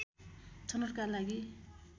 छनौटका लागि